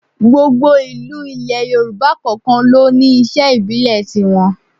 Gbogbo ìlú ilẹ̀ Yorùbá kọ̀ọ̀kan ló ní iṣẹ́ ìbílẹ̀ tiwọn